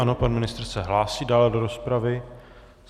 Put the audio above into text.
Ano, pan ministr se hlásí dále do rozpravy.